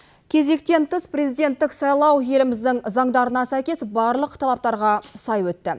кезектен тыс президенттік сайлау еліміздің заңдарына сәйкес барлық талаптарға сай өтті